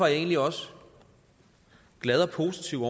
jeg egentlig også glad og positiv